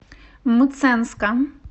мценска